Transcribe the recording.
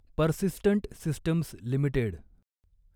persistent systems limited